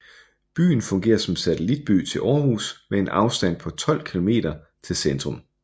Byen fungerer som satellitby til Aarhus med en afstand på 12 kilometer til centrum